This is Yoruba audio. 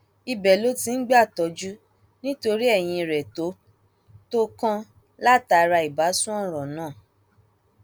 ibẹ ló ti ń gbàtọjú nítorí eyín rẹ tó tó kàn látara ìbásun ọràn náà